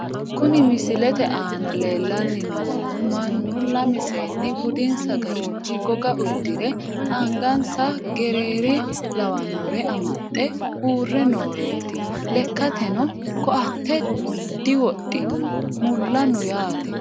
Kuni misilete aana lellanni noohu mannu lame seenni budinsa garinni goga uddire angansa gereere lawannore amaxxe uurre nooreeti. lekkateno koatte diwodhino mulla no yaate.